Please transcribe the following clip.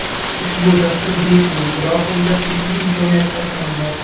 Ushbu dastur bepul, biroq unda pulli imkoniyatlari ham bor.